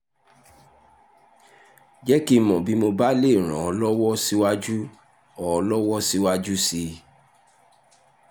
jẹ́ kí n mọ̀ bí mo bá lè ràn ọ́ lọ́wọ́ síwájú ọ́ lọ́wọ́ síwájú sí i